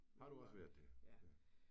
Har du også været det? Ja